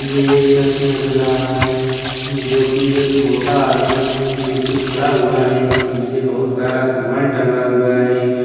ये एक सेक्शन नज़र आ रहा है जोकि एक मोटा आदमी है जोकि खड़ा हुआ है पीछे बहुत सारा समान टांगा हुआ है।